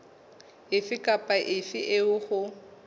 efe kapa efe eo ho